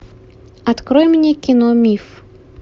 открой мне кино миф